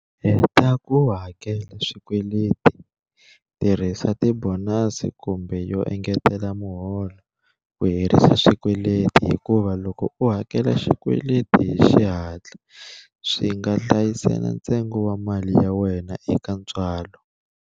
Heta ku hakela swikweleti Tirhisa ti bonasi kumbe yo engetela miholo ku herisa xikweleti hikuva loko u hakela xikweleti hi xihatla, swi nga hlayisela ntsengo wa mali ya wena eka ntswalo.